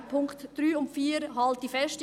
An den Punkten 3 und 4 halte ich fest.